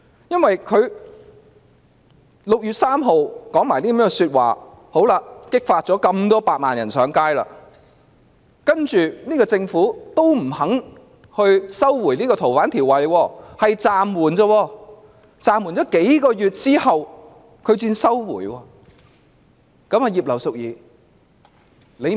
因為她在6月3日說了這些話後，便激發了百萬人上街；然後政府仍然不願意收回《逃犯條例》修訂，只說會暫緩，是在暫緩數個月後才撤回。